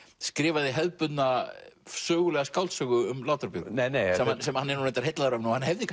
skrifaði hefðbundna sögulega skáldsögu um Látra Björgu sem hann er reyndar heillaður af og hann hefði